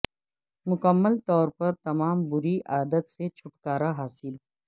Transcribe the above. مکمل طور پر تمام بری عادت سے چھٹکارا حاصل